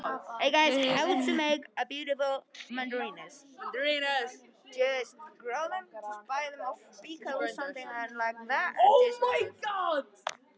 Við höfum unnið þrjú úrvalsdeildarlið til að komast hingað.